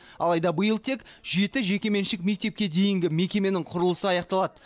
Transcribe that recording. алайда биыл тек жеті жекеменшік мектепке дейінгі мекеменің құрылысы аяқталады